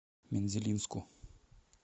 мензелинску